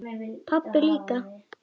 Pabbi líka.